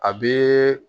A bɛ